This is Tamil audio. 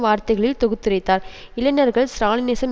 வார்த்தைகளில் தொகுத்துரைத்தார் இளைஞர்கள் ஸ்ராலினிசம்